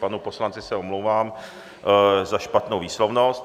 Panu poslanci se omlouvám za špatnou výslovnost.